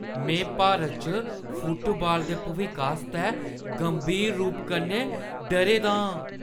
में भारत च फुटबाल दे भविक्ख आस्तै गंभीर रूप कन्नै डरी दी आं।